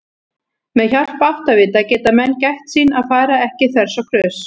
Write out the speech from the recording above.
Með hjálp áttavita geta menn gætt sín að fara ekki þvers og kruss!